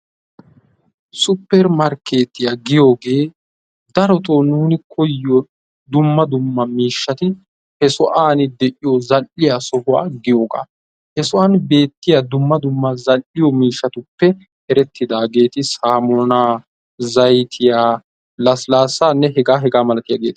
supermarkkeetiyaa giyoogee darotoo nuuni koyyiyoo dumma dumma miishshati he sohuwaan de'iyoo zal'iyaa sohuwaa giyoogaa. he sohuwaan beettiyaa dumma dumma zal"iyoo miishshatuppe erettidaageti saamunaa zayttiyaanne lasilaasaa hegaanne hegaa milatiyaageta.